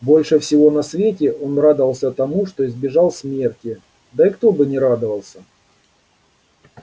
больше всего на свете он радовался тому что избежал смерти да и кто бы не радовался